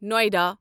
Noida